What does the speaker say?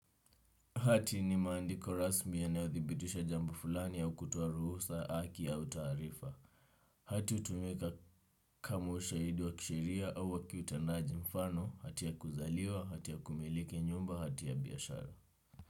Hati ni maandiko rasmi yanayothibitisha jambo fulani au kutoa ruhusa haki au taarifa. Hati hutumika kama ushaidi wa kisheria au wa kiutendaji mfano, hati ya kuzaliwa, hati ya kumiliki nyumba, hati ya biashara.